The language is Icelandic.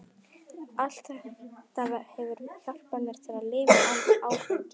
Allt þetta hefur hjálpað mér til að lifa án áfengis.